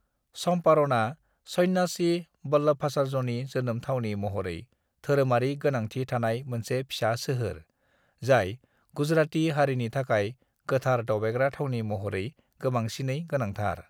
"चम्पारणआ सन्यासि वल्लभाचार्यनि जोनोम थावनि महरै धोरोमारि गोनांथि थानाय मोनसे फिसा सोहोर, जाय गुजराती हारिनि थाखाय गोथार दावबायग्रा थावनि महरै गोबांसिनै गोनांथार।"